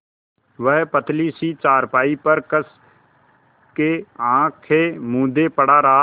वह पतली सी चारपाई पर कस के आँखें मूँदे पड़ा रहा